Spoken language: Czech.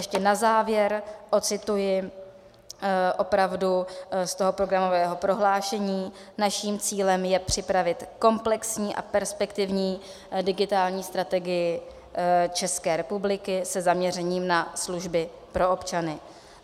Ještě na závěr ocituji opravdu z toho programového prohlášení: Naším cílem je připravit komplexní a perspektivní digitální strategii České republiky se zaměřením na služby pro občany.